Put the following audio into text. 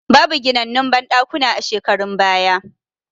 Babu ginannun banɗakuna a shekarun baya